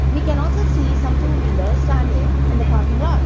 we can also see some two wheelers standing on the parking slot.